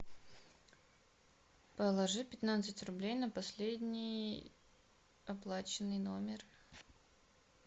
положи пятнадцать рублей на последний оплаченный номер